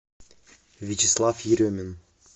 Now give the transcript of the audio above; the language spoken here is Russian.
вячеслав еремин